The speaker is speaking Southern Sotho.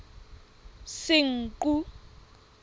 senqu